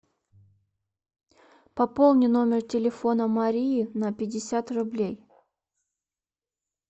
пополни номер телефона марии на пятьдесят рублей